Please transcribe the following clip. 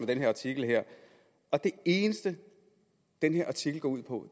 den artikel her og det eneste den her artikel går ud på